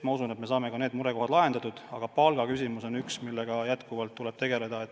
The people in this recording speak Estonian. Ma usun, et me saame ka need murekohad lahendatud, aga palgaküsimus on üks, millega tuleb kogu aeg tegeleda.